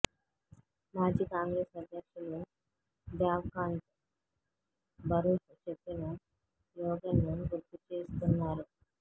మాజీ కాంగ్రెస్ అధ్యక్షులు దేవ్కాంత్ బరూహ్ చెప్పిన స్లోగన్ గుర్తుచేస్తున్నారు